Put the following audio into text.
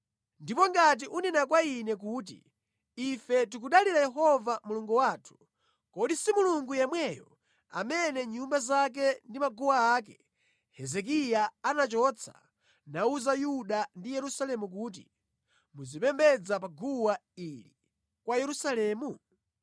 Ndipo ngati ukunena kwa ine kuti, “Ife tikudalira Yehova Mulungu wathu.” Kodi si Mulungu yemweyo amene nyumba zake ndi maguwa ake Hezekiya anachotsa, nawuza anthu a ku Yuda ndi a ku Yerusalemu kuti, “Muzipembedza pa guwa lansembe ili mu Yerusalemu?”